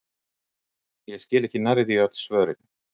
Ég skil ekki nærri því öll svörin!